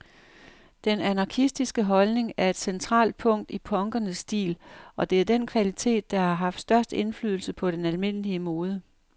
Den anarkistiske holdning er et centralt punkt i punkernes stil, og det er den kvalitet, der har haft størst indflydelse på den almindelige mode.